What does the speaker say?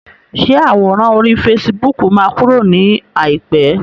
Ṣé àwòrán orí fasibóòkù máa kúrò ní àìpé?